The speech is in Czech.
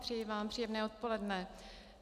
Přeji vám příjemné odpoledne.